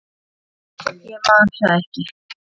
Nei, ég man það ekki.